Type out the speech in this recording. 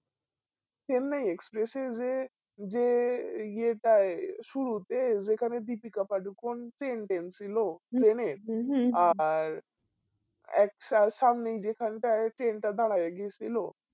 চেন্নাই এক্সপ্রেসে যে যে ইয়াটাই সুরুতে যেখানে দীপিকা পাদুকন ছিল train আ আর এক সাল সামনেই যেখান টাই train টা দাঁড়াইয়া গিয়েছিলো